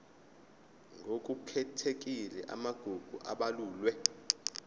ngokukhethekile amagugu abalulwe